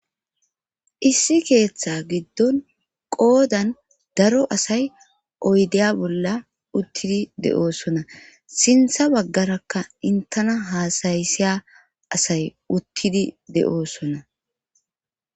issi keeththa giddon qoodan daro asay oydeya bolla uttidi de7oosona sintha baggarakka intana haasayisiya asay uttidi de7oosona